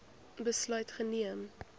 besluit geneem